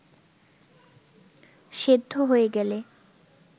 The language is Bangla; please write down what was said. সেদ্ধ হয়ে গেলে